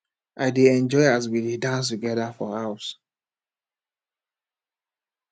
i dey enjoy as we dey dance togeda for house